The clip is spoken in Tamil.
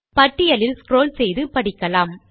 பட்டியலில் ஸ்க்ரால் செய்து படிக்கலாம்